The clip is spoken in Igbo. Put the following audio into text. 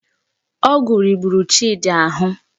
Ọgwụ riburu Chidi ahụ